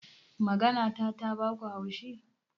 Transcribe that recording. Maganata ta baku haushi?